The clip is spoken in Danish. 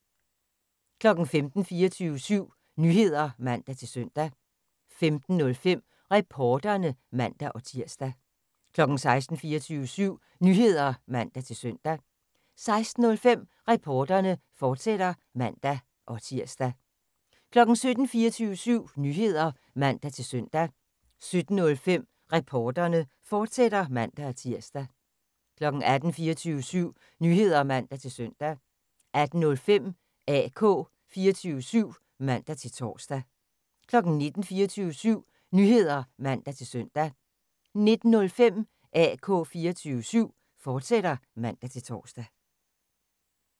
15:00: 24syv Nyheder (man-søn) 15:05: Reporterne (man-tir) 16:00: 24syv Nyheder (man-søn) 16:05: Reporterne, fortsat (man-tir) 17:00: 24syv Nyheder (man-søn) 17:05: Reporterne, fortsat (man-tir) 18:00: 24syv Nyheder (man-søn) 18:05: AK 24syv (man-tor) 19:00: 24syv Nyheder (man-søn) 19:05: AK 24syv, fortsat (man-tor)